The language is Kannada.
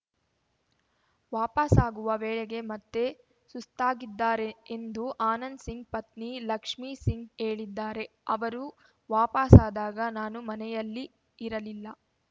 ವಾಪಸಾಗುವ ವೇಳೆಗೆ ಮತ್ತೆ ಸುಸ್ತಾಗಿದ್ದಾರೆ ಎಂದು ಆನಂದ್‌ಸಿಂಗ್‌ ಪತ್ನಿ ಲಕ್ಷ್ಮಿ ಸಿಂಗ್‌ ಹೇಳಿದ್ದಾರೆ ಅವರು ವಾಪಸಾದಾಗ ನಾನು ಮನೆಯಲ್ಲಿ ಇರಲಿಲ್ಲ